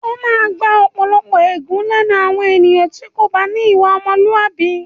O máa gba ọ̀pọ̀lọpọ̀ ègún lẹ́nu àwọn ènìyàn tí o kò bá ní ìwà ọmọlúàbí.